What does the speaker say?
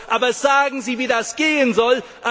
Aber sagen Sie, wie das gehen soll!